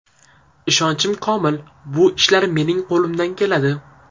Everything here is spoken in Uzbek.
Ishonchim komil, bu ishlar mening qo‘limdan keladi.